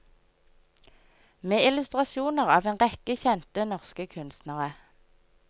Med illustrasjoner av en rekke kjente norske kunstnere.